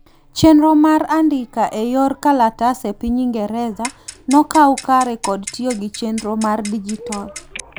chenro mar andika e yoor kalatas e piny ingereza nokau kare kod tiyo gi chenro mar dijitol